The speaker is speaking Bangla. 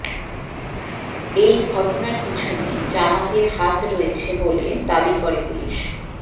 এই ঘটনার পিছনে জামাতের হাত রয়েছে বলে দাবি করে পুলিস